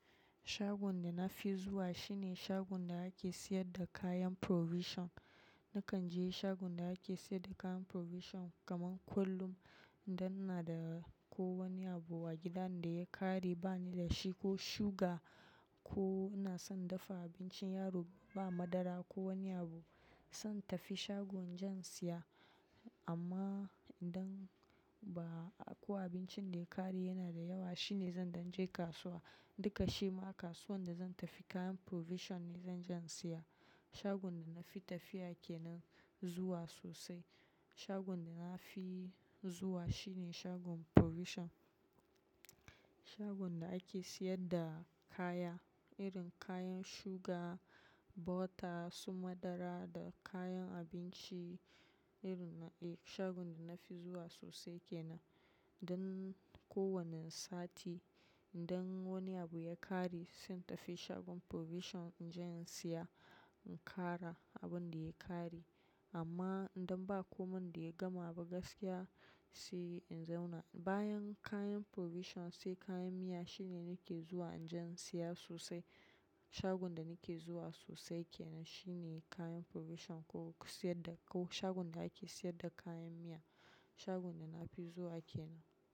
Shagon da na fi zuwa shine shagon da ake siyar da kayan provision. Nakan je shagon da ake siyar da kayan provision kaman kullum idan ina da ko wani abu a gidan da ya ƙare bani da shi ko suga ko ina son dafa abincin yaro ba madara ko wani abu, zan tafi shagon jan siya. Amma idan ba ko abincin da ya ƙare yana da yawa shine zan, dan je kasuwa. Duka shi ma kasuwan da zan tafi kayan provision ne zan jan siya. Shagon da na fi tafiya ke nan zuwa sosai. Shagon da na fi zuwa shine shagon provision. Shagon da ake siyar da kaya, irin kayan suga, bota su madara da kayan abinci irin na, eh shagon da na fi zuwa sosai ke nan. Dan kowane sati idan wani abu ya ƙare zan tafi shagon provision in je in siya in ƙara abun da ya ƙare. Amma idan ba komai da ya gama ba gaskiya sai in zauna. Bayan kayan provision sai kayan miya shine nake zuwa inji siya sosai. Shagon da nake zuwa sosai ke nan shine kayan provision ko siyar da ko shagon da ake siyar da kayan miya. Shagon da na fi zuwa ake nan.